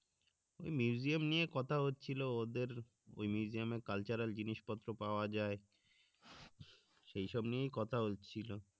নিয়ে কথা হচ্ছিলো ওদের ঐ জিনিস পত্র পাওয়া যায় সেই সব নিয়েই কথা হচ্ছিলো